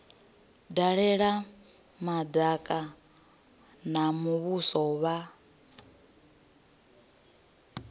dalela madaka a muvhuso vha